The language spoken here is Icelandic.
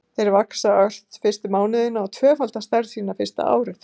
Þeir vaxa ört fyrstu mánuðina og tvöfalda stærð sína fyrsta árið.